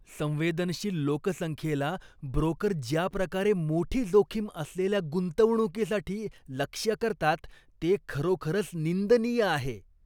संवेदनशील लोकसंख्येला ब्रोकर ज्या प्रकारे मोठी जोखीम असलेल्या गुंतवणुकीसाठी लक्ष्य करतात ते खरोखरच निंदनीय आहे.